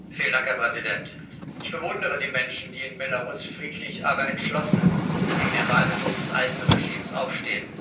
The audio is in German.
Herr Präsident! Ich bewundere die Menschen, die in Belarus friedlich, aber entschlossen gegen den Wahlbetrug des alten Regimes aufstehen.